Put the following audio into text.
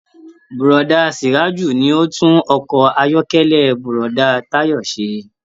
Búrọ̀da Suraju ní o n tún ọkọ ayọkẹlẹ Búrọ̀da Tayo se.